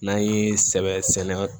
N'an ye sɛbɛ sɛnɛ